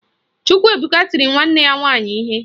Chukwuebuka tiri nwanne ya nwaanyị ihe